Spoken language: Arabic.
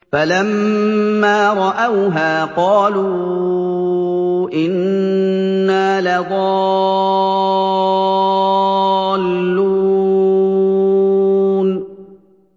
فَلَمَّا رَأَوْهَا قَالُوا إِنَّا لَضَالُّونَ